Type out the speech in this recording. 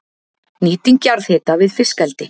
Nýting jarðhita við fiskeldi